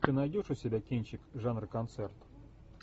ты найдешь у себя кинчик жанра концерт